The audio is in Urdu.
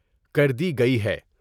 کر دی گئی ہے ۔